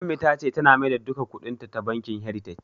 Ummi ta ce tana maida duka kuɗin ta bankin "heritage".